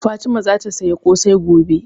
Fatima zata saya ƙosai gobe